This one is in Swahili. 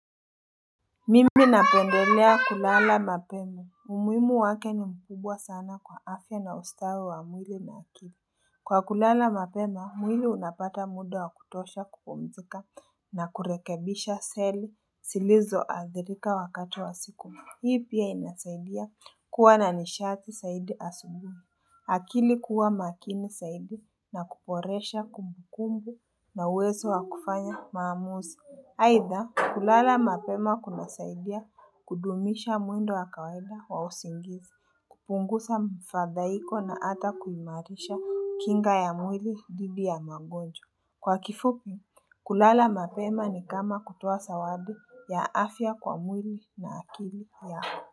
Mimi napendelea kulala mapema umuhimu wake ni mkubwa sana kwa afya na ustawi wa mwili na akili Kwa kulala mapema mwili unapata muda wa kutosha kupumzika na kurekebisha seli zilizo adhirika wakati wa siku hii pia inasaidia kuwa na nishati zaidi asubuhi akili kuwa makini zaidi na kuboresha kumbukumbu na uwezo wa kufanya maamuzi aitha kulala mapema kunasaidia kudumisha mwendo wa kawaida wa usingizi, kupunguza mfadhaiko na hata kuimarisha kinga ya mwili dhidi ya magonjwa. Kwa kifupi, kulala mapema ni kama kutoa zawadi ya afya kwa mwili na akili ya afya.